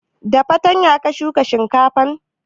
Da fartanya ka shuka shinkafan?